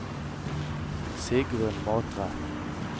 Sigrun Matre